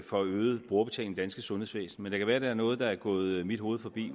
for øget brugerbetaling i det danske sundhedsvæsen det kan være der er noget der er gået mit hoved forbi